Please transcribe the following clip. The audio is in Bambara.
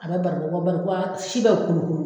A be barikon kan barikon a si bɛ u kolokolo